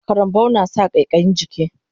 Karambau nasa ƙaiƙayin jiki